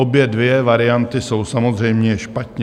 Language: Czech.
Obě dvě varianty jsou samozřejmě špatně.